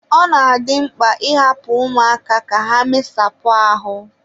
ọ na-adị mkpa ịhapụ ụmụaka ka ha mesapụ ahụ